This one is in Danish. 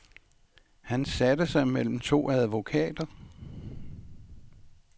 Han satte sig mellem to advokater.